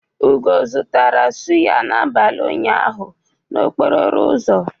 Ugo zụtara sụ́yá n'abalị ụnyaahụ n'okporo ụzọ.